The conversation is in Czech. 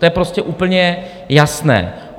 To je prostě úplně jasné.